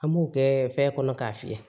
An b'o kɛ fɛn kɔnɔ k'a fiyɛ